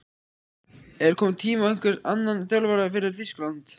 Er kominn tími á einhvern annan þjálfara fyrir Þýskaland?